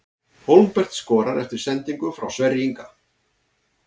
Hólmbert skorar eftir sendingu frá Sverri Inga!